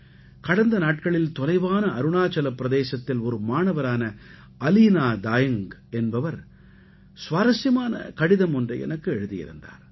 கடந்த நாட்களில் தொலைவான அருணாச்சலப் பிரதேசத்தில் ஒரு மாணவரான அலீனா தாயங்க் என்பவர் சுவாரசியமான கடிதம் ஒன்றை எனக்கு எழுதியிருந்தார்